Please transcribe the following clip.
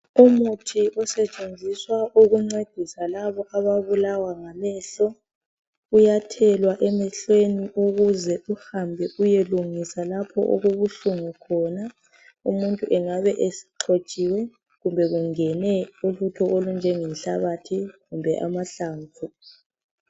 Umuthi osetshenziswa ukuncedisa labo ababulawa ngamehlo uyathelwa emehlweni kuze uhambe uyelungisa lapho okubuhlungu khona umuntu engabe exhotshiwe kumbe kungene ulutho olunjenge nhlabathi kumbe amahlamvu.